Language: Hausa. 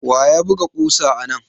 Wa ya buga ƙusa anan?